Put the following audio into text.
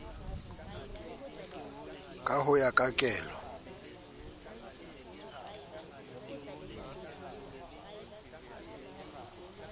ka ho ya ka kelo